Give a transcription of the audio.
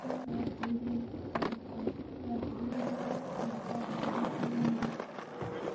M-PESA yambĩrĩirio nĩ Safaricom. Yambĩrĩirio Machi mwaka wa ngiri igĩrĩ na mũgwanja.